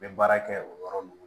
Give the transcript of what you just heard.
N bɛ baara kɛ o yɔrɔ ninnu